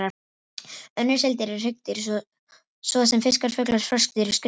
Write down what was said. Önnur seildýr eru hryggdýr, svo sem fiskar, fuglar, froskdýr og skriðdýr.